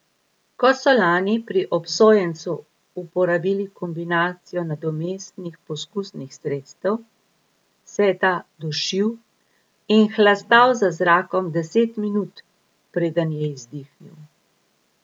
Ko so lani pri obsojencu uporabili kombinacijo nadomestnih poskusnih sredstev, se je ta dušil in hlastal za zrakom deset minut, preden je izdihnil.